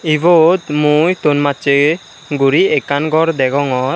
ibot mui thon masche guri ekkan gor degongor.